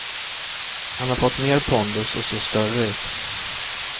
Han har fått mer pondus och ser större ut.